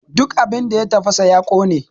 Duk abin da ya tafasa ya ƙone!